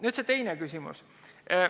Nüüd see teine küsimus.